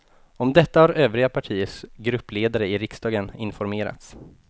Om detta har övriga partiers gruppledare i riksdagen informerats.